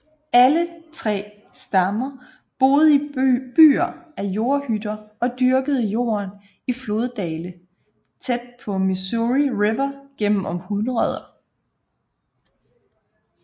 Alle tre stammer boede i byer af jordhytter og dyrkede jorden i floddale tæt på Missouri River gennem århundreder